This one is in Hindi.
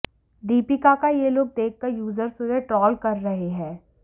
दीपिका का ये लुक देखकर यूजर्स उन्हें ट्रोल कर रहे हैं